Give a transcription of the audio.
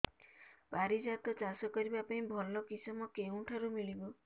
ପାରିଜାତ ଚାଷ କରିବା ପାଇଁ ଭଲ କିଶମ କେଉଁଠାରୁ ମିଳିବ